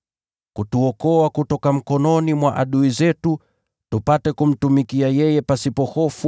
kutuokoa kutoka mikononi mwa adui zetu, tupate kumtumikia yeye pasipo hofu